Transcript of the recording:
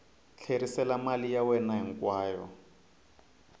tlherisela mali ya wena hinkwayo